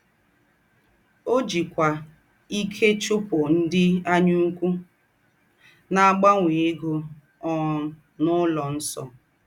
Ọ́ jìkwá íkè chúpụ̀ ńdị́ ànyàùkwù ná-àgbànwè égó um n’ụlọ̀ nsọ̀.